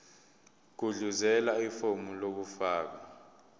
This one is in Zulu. gudluzela ifomu lokufaka